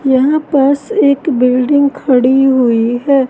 यहां पास एक बिल्डिंग खड़ी हुई है।